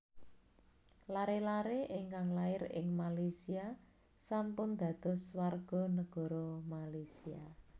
Lare lare ingkang lair ing Malaysia sampun dados warga negara Malaysia